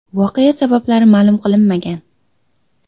Voqea sabablari ma’lum qilinmagan.